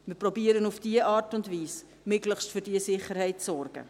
Wir versuchen auf diese Art und Weise, möglichst für die Sicherheit zu sorgen.